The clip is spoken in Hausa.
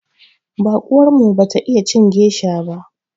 Baƙuwar mu bata iya cin gesha ba.